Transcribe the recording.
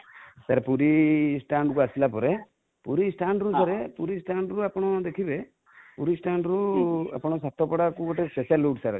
sir Puri stand କୁ ଆସିଲା ପରେ, ପୁରୀ stand ରୁ sir ପୁରୀ stand ରୁ ଆପଣ ଦେଖିବେ, ପୁରୀ stand ରୁ ଆପଣ ସାତପଡ଼ା କୁ ଗୋଟେ special route sir ଅଛି